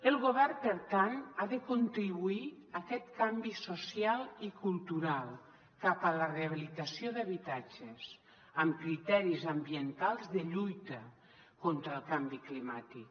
el govern per tant ha de contribuir a aquest canvi social i cultural cap a la rehabilitació d’habitatges amb criteris ambientals de lluita contra el canvi climàtic